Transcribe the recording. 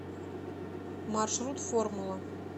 маршрут формула